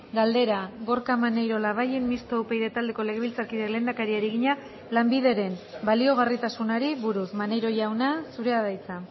galdera gorka maneiro labayen mistoa upyd taldeko legebiltzarkideak lehendakariari egina lanbideren baliagarritasunari buruz maneiro jauna zurea da hitza